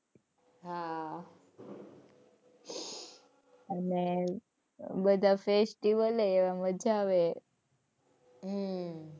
હાં અને બધા festival એવા મજા આવે. હમ્મ હાં.